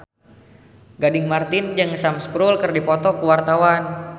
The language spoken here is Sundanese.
Gading Marten jeung Sam Spruell keur dipoto ku wartawan